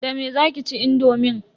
Da me zaki ci indomin?